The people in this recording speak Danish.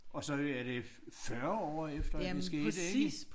Og så det er det 40 år efter at det skete ikke